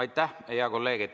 Aitäh, hea kolleeg!